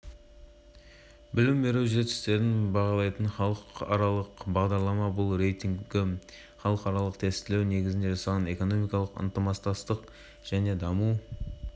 айта кетейік бүгін ғана трамптың компаниясынан млрд долларға қызметтік ұшақ сатып алудан бас тартқаны хабарланған еді